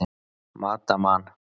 Mata Man.